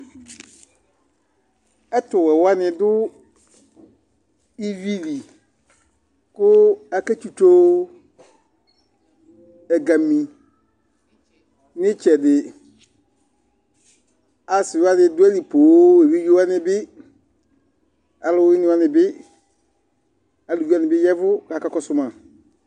ɛtuwɛwani du iʋili ku aketsitsoo ɛgãmi nitsɛdi asiwani duali pooo éʋidzewani bi aluwini wanibi aluʋiwanibi yɛʋu kakakɔsu ma